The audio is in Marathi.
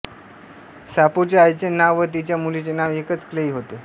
साफोच्या आईचे नाव व तिच्या मुलीचे नाव एकच क्लेई होते